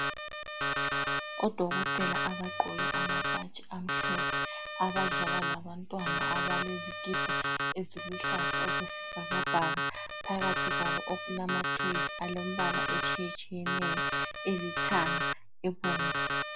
Odokotela abagqoke amabhatshi amhlophe, abadlala labantwana abalezikipa eziluhlaza okwesibhakabhaka. Phakathi kwabo okulama toys alombala etshiye tshiyeneyo elithanga ebomvu.